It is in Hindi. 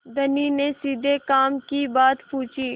धनी ने सीधे काम की बात पूछी